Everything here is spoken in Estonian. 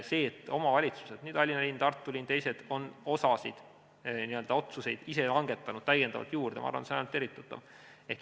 See, et omavalitsused, Tallinn, Tartu ja teised, on otsuseid ise langetanud täiendavalt juurde, ma arvan, on ainult tervitatav.